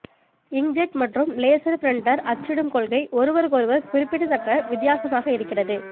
inkjet மற்றும் laser printer அச்சிடும் கொள்கை ஒருவருக்கொருவர் குறிப்பிடத்தக்க வித்தியாசமாக இருக்கிறது